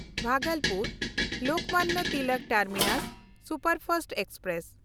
ᱵᱷᱟᱜᱚᱞᱯᱩᱨ–ᱞᱳᱠᱢᱟᱱᱱᱚ Tilak terminus superfast express